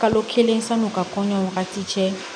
Kalo kelen sanu ka kɔɲɔ wagati cɛ